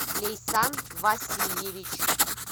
лейсан васильевич